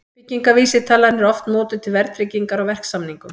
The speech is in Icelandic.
Byggingarvísitalan er oft notuð til verðtryggingar á verksamningum.